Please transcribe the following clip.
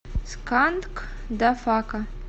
сканкдафака